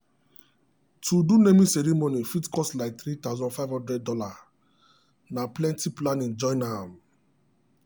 to do naming ceremony fit cost like $3500 na plenty planning join am.